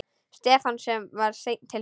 Stefán var seinn til svars.